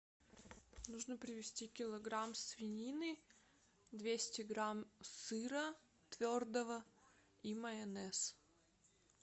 нужно привезти килограмм свинины двести грамм сыра твердого и майонез